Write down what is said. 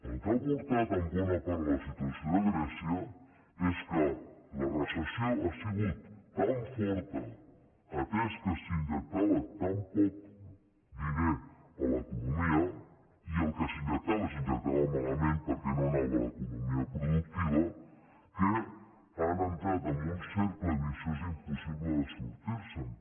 el que ha portat en bona part a la situació de grècia és que la recessió ha sigut tan forta atès que s’injectava tan poc diner a l’economia i el que s’injectava s’hi injectava malament perquè no anava a l’economia productiva que han entrat en un cercle viciós impossible de sortir se’n